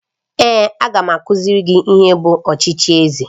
Èé, a ga m akụziri gị ihe bụ ọchịchị eze